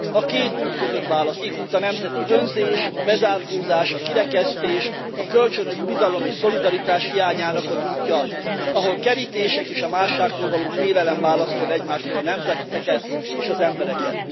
Ma két út között választhatunk. Az egyik út a nemzeti önzés, a bezárkózás, a kirekesztés, a kölcsönös bizalom és szolidaritás hiányának az útja, ahol kerítések és a másságtól való félelem választja el egymástól a nemzeteket és az embereket.